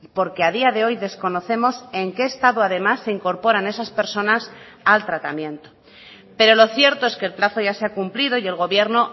porque a día de hoy desconocemos en qué estado además se incorporan esas personas al tratamiento pero lo cierto es que el plazo ya se ha cumplido y el gobierno